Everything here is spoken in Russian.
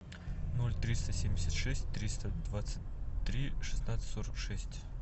ноль триста семьдесят шесть триста двадцать три шестнадцать сорок шесть